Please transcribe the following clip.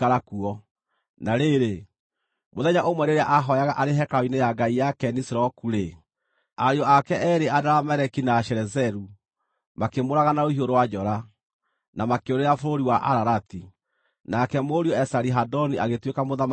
Na rĩrĩ, mũthenya ũmwe rĩrĩa ahooyaga arĩ hekarũ-inĩ ya ngai yake Nisiroku-rĩ, ariũ ake eerĩ Adarameleki na Sharezeru makĩmũũraga na rũhiũ rũa njora, na makĩũrĩra bũrũri wa Ararati. Nake mũriũ Esari-Hadoni agĩtuĩka mũthamaki ithenya rĩake.